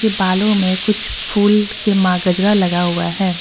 के बालो में कुछ फूल के मा गजरा लगा हुआ है।